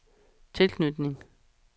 tilknytning